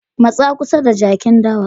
Matsa kusa da jakin dawa.